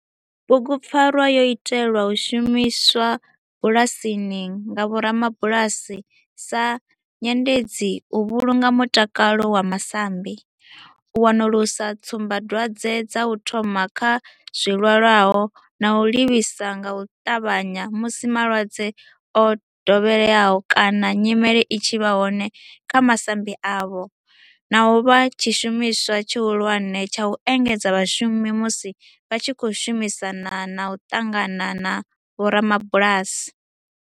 Bugupfarwa yo itelwa u shumiswa bulasini nga vhorabulasi sa nyendedzi u vhulunga mutakalo wa masambi, u wanulusa tsumbadwadzwe dza u thoma kha zwilwalaho na u livhisa nga u tavhanya musi malwadze o dovheleaho kana nyimele i tshi vha hone kha masambi avho, na u vha tshishumiswa tshihulwane tsha u engedzedza vhashumi musi vha tshi khou shumisana na u ṱangana na vhorabulasi.